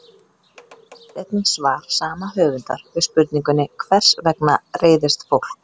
Skoðið einnig svar sama höfundar við spurningunni Hvers vegna reiðist fólk?